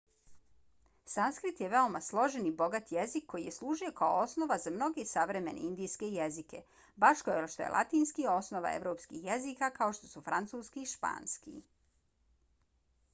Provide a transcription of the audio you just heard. sanskrit je veoma složen i bogat jezik koji je služio kao osnova za mnoge savremene indijske jezike baš kao što je latinski osnova evropskih jezika kao što su francuski i španski